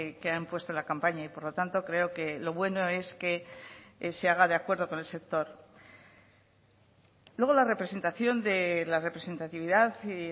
que han puesto en la campaña y por lo tanto creo que lo bueno es que se haga de acuerdo con el sector luego la representación de la representatividad y